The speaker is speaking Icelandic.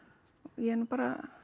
ég er nú bara